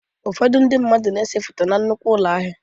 Ụfọdụ ndị mmadụ na-esebe foto na nnukwu ụlọ ahịa.